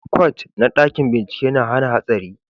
kwat na dakin bincike na hana hatsari